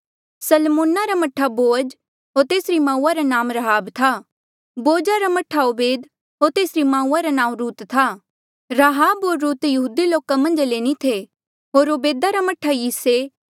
सलमोन रा मह्ठा बोअज होर तेसरी माऊआ रा नाऊँ राहाब था बोअज रा मह्ठा ओबेद होर तेसरी माऊआ रा नाऊँ रुत था राहब होर रुत यहूदी लोका मन्झ ले नी थे होर ओबेदा रा मह्ठा यिसै